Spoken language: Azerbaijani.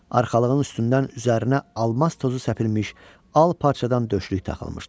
Arxalığın üstündən üzərinə almaz tozu səpilmiş al parçadan döşlük taxılmışdı.